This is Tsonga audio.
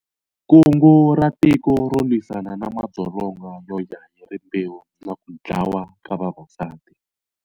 Kungu ra Tiko ro lwisana na madzolonga yoya hi rimbewu na ku dlawa ka vavasati.